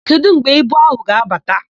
Kedụ mgbe ibu áhụ̀ ga-abata?